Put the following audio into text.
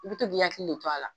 I bi to k'i hakili la to a la.